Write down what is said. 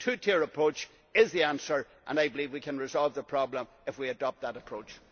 it. The two tier approach is the answer and I believe we can resolve the problem if we adopt that approach.